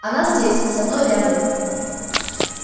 она здесь со мной рядом